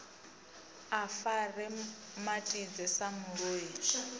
a fare matidze sa muloi